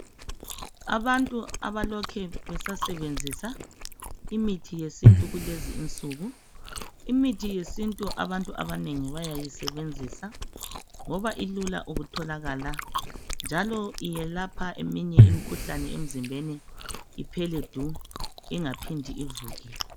Abantu abalokhe besasebenzisa imithi yesintu kulezi insuku. Imithi yesintu abantu abanengi bayayisebenzisa ngoba ilula ukutholakala njalo iyelapha eminye imikhuhlane emzimbeni iphele du ingaphindi ivuke.